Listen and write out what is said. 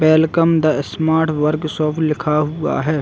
Welcome the smart workshop लिखा हुआ हैं।